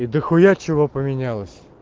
и дохуя чего поменялось